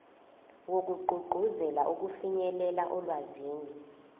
wokugqugquzela ukufinyelela olwazini